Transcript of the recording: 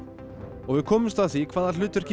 og við komumst að því hvaða hlutverki